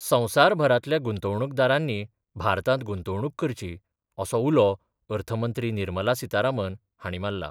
संवसारभरांतल्या गुंतवणूकदारांनी भारतांत गुंतवणूक करची असो उलो अर्थ मंत्री निर्मला सीतारामन हांणी मारला.